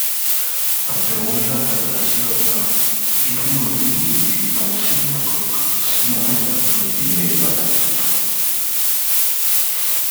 àbẹwò ládọjà sí ọba èmi ò ní ìkùnsínú kankan sí olùbàdàn ilẹ ìbàdàn tuntun